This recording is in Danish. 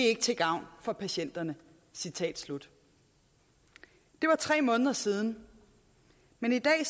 ikke til gavn for patienterne citat slut det er tre måneder siden men i dag